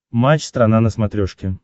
матч страна на смотрешке